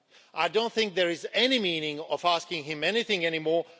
I don't think there is any meaning in asking him anything anymore.